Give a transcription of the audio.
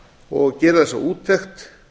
og gera þessa úttekt